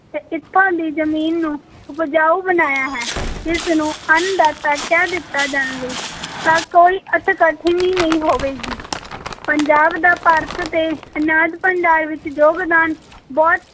ਤੇ ਇੱਥੋਂ ਦੀ ਜ਼ਮੀਨ ਨੂੰ ਉਪਜਾਊ ਬਣਾਇਆ ਹੈ, ਇਸ ਨੂੰ ਅੰਨ ਦਾਤਾ ਕਹਿ ਦਿੱਤਾ ਜਾਵੇ ਤਾਂ ਕੋਈ ਅਤਿਕਥਨੀ ਨਹੀਂ ਹੋਵੇਗੀ, ਪੰਜਾਬ ਦਾ ਭਾਰਤ ਦੇ ਅਨਾਜ ਭੰਡਾਰ ਵਿੱਚ ਯੋਗਦਾਨ ਬਹੁਤ